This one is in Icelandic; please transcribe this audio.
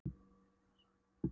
segir hann svo og lítur á hana.